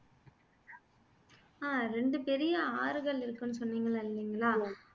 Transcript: ஆஹ் ரெண்டு பெரிய ஆறுகள் இருக்குன்னு சொன்னிங்கல இல்லைங்களா